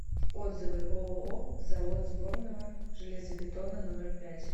отзывы ооо завод сборного железобетона номер пять